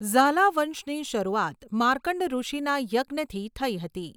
ઝાલા વંશની શરૂઆત માર્કંડ ઋષીના યજ્ઞથી થઈ હતી.